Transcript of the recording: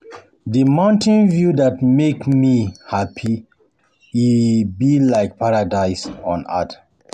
Di mountain view dey make my me hapi, e be like paradise on earth.